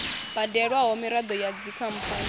badelwaho miraḓo ya dzikhamphani na